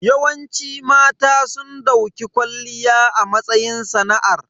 Yawanci mata sun dauki kwalliya a matsayin sana'ar.